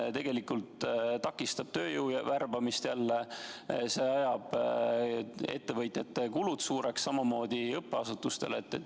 See tegelikult takistab jälle tööjõu värbamist, see ajab ka ettevõtjate kulud suureks, samamoodi õppeasutuste puhul.